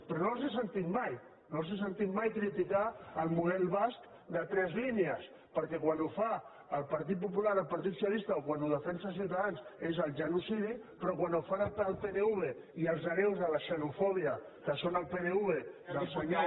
però no els he sentit mai no els he sentit mai criticar el model basc de tres línies perquè quan ho fa el partit popular el partit socialista o quan ho defensa ciutadans és el genocidi però quan ho fa el pnv i els hereus de la xenofòbia que són el pnv del senyor